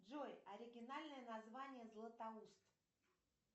джой оригинальное название златоуст